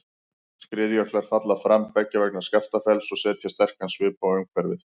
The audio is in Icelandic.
Skriðjöklar falla fram beggja vegna Skaftafells og setja sterkan svip á umhverfið.